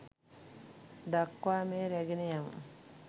දක්වා මෙය රැගෙන යමු